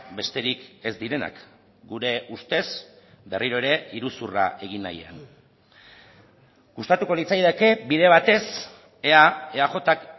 besterik ez direnak gure ustez berriro ere iruzurra egin nahian gustatuko litzaidake bide batez ea eajk